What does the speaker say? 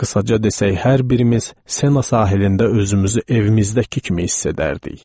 Qısaca desək, hər birimiz Sena sahilində özümüzü evimizdəki kimi hiss edərdik.